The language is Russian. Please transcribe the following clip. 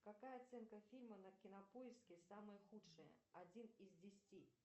какая оценка фильма на кинопоиске самая худшая один из десяти